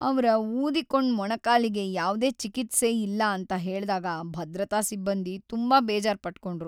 ಅವ್ರ ಊದಿಕೊಂಡ್ ಮೊಣಕಾಲಿಗೆ ಯಾವ್ದೇ ಚಿಕಿತ್ಸೆ ಇಲ್ಲ ಅಂತ ಹೇಳ್ದಾಗ ಭದ್ರತಾ ಸಿಬ್ಬಂದಿ ತುಂಬಾ ಬೇಜಾರ್ ಪಟ್ಕೊಂಡ್ರು.